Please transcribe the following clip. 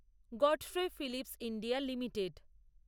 Godfrey Phillips India limited